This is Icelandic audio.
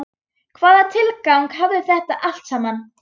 Hvaða tilgang hafði þetta allt saman?